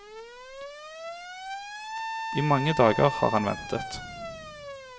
I mange dager har han ventet.